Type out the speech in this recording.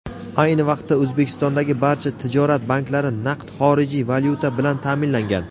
Ayni vaqtda O‘zbekistondagi barcha tijorat banklari naqd xorijiy valyuta bilan ta’minlangan.